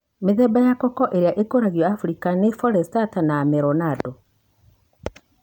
Mithemba ya koko ĩrĩa ĩkoragio Afrika nĩ Forastero na Amelonado.